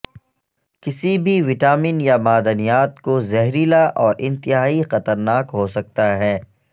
کسی بھی وٹامن یا معدنیات کو زہریلا اور انتہائی خطرناک ہو سکتا ہے